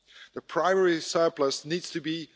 The primary surplus needs to be